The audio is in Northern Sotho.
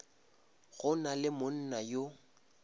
go na le monna yo